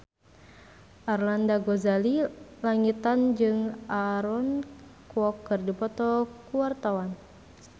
Arlanda Ghazali Langitan jeung Aaron Kwok keur dipoto ku wartawan